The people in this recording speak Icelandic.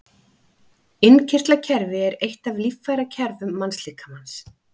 Innkirtlakerfi er eitt af líffærakerfum mannslíkamans.